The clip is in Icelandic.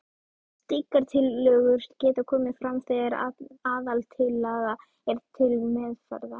Slíkar tillögur geta komið fram þegar aðaltillaga er til meðferðar.